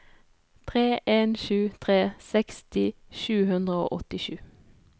tre en sju tre seksti sju hundre og åttisju